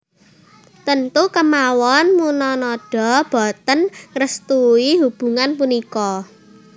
Tentu kemawon Munanada boten ngrestui hubungan punika